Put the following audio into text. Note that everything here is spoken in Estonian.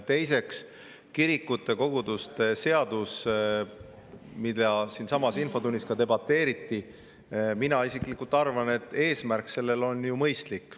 Teiseks, mina isiklikult arvan, et kirikute ja koguduste seaduse puhul, mille üle ka siinsamas infotunnis debateeriti, on eesmärk mõistlik.